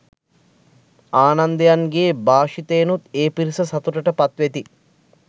ආනන්දයන්ගේ භාෂිතයෙනුත් ඒ පිරිස සතුටට පත් වෙති